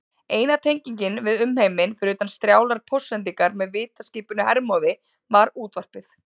Eina tengingin við umheiminn, fyrir utan strjálar póstsendingar með vitaskipinu Hermóði, var útvarpið.